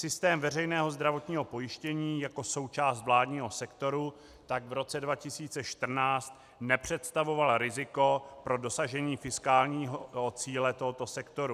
Systém veřejného zdravotního pojištění jako součást vládního sektoru tak v roce 2014 nepředstavoval riziko pro dosažení fiskálního cíle tohoto sektoru.